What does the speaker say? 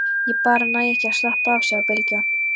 Ég bara næ ekki að slappa af, sagði Bylgja.